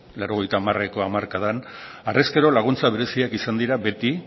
laurogeieko hamarkadan harrezkero laguntza bereziak izan dira beti